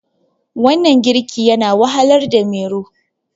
wannan girki yana wahalarda Mero